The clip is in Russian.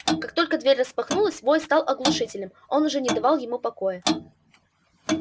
как только дверь распахнулась вой стал оглушительным он уже не давал ему покоя